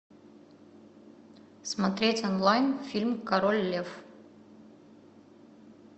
смотреть онлайн фильм король лев